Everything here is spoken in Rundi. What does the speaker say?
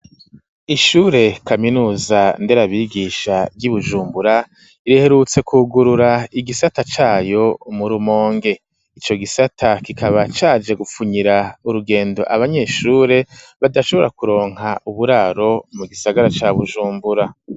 Ishure kaminuza nderabigisha ry'Ibujumbura, riherutse kugurura igisata cayo mu Rumonge, ico gisata kikaba caje gupfunyira urugendo abanyeshure badashobora kuronka uburaro mu gisagara ca Bujumbura.